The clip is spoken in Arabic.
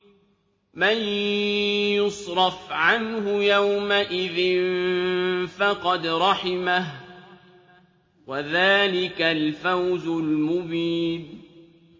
مَّن يُصْرَفْ عَنْهُ يَوْمَئِذٍ فَقَدْ رَحِمَهُ ۚ وَذَٰلِكَ الْفَوْزُ الْمُبِينُ